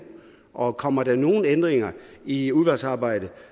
og kommer der nogen ændringer i udvalgsarbejdet